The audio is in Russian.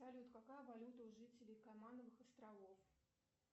салют какая валюта у жителей каймановых островов